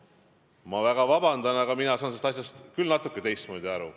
Ma palun väga vabandust, aga mina saan sellest asjast küll natuke teistmoodi aru.